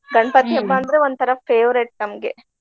ಅಂದ್ರ ಒಂದ ತರಾ favorite ನಮ್ಗೆ.